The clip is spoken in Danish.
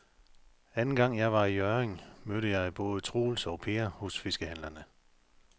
Anden gang jeg var i Hjørring, mødte jeg både Troels og Per hos fiskehandlerne.